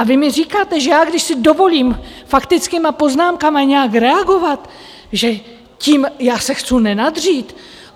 A vy mi říkáte, že já, když si dovolím faktickými poznámkami nějak reagovat, že tím já se chcu nenadřít?